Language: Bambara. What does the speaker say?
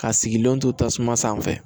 Ka sigilenw to tasuma sanfɛ